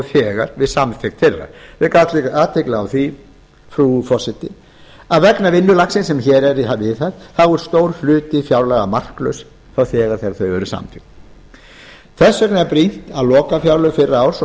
þegar við samþykkt þeirra ég vek athygli á því frú forseti að vegna vinnulagsins sem hér er viðhaft er stór hluti fjárlaga marklaus þá þegar þau eru samþykkt þess vegna er brýnt að lokafjárlög fyrra árs og